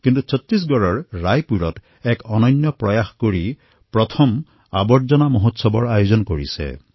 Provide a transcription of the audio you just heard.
কিন্তু ছট্টিশগড়ৰ ৰায়পুৰত প্ৰথমবাৰলৈ কছৰা মহোৎসৱ আয়োজন কৰা হৈছে